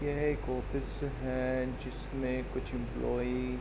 यह एक ऑफिस है जिसमें कुछ एम्प्लोई --